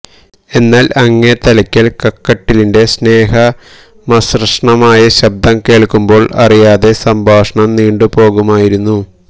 എന്നാല് അങ്ങേത്തലയ്ക്കല് കക്കട്ടിലിന്റെ സ്നേഹമസൃണമായ ശബ്ദം കേള്ക്കുമ്പോള് അറിയാതെ സംഭാഷണം നീണ്ടുപോകുമായിരുന്നു